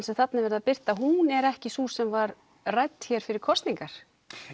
sem þarna er verið að birta að hún er ekki sú sem var rædd hér fyrir kosningar